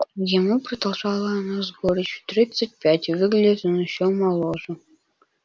ему продолжала она с горечью тридцать пять и выглядит он ещё моложе